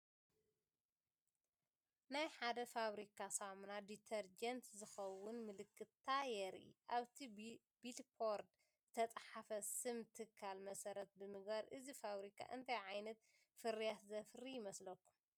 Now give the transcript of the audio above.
ናይ ሓደ ፋብሪካ ሳሙና ዲተርጀንት ዝኸውን ምልክታ የርኢ። ኣብቲ ቢልቦርድ ዝተጻሕፈ ስም ትካል መሰረት ብምግባር እዚ ፋብሪካ እንታይ ዓይነት ፍርያት ዘፍሪ ይመስለኩም?